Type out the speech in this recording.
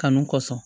Kanu kɔsɔn